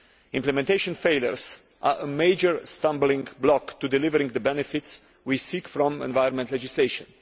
Implementation failures are a major stumbling block to delivering the benefits we seek from environmental legislation.